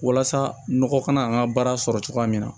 Walasa nɔgɔ kana an ka baara sɔrɔ cogoya min na